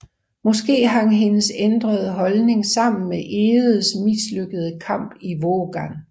Måske hang hendes ændrede holdning sammen med Egedes mislykkede kamp i Vågan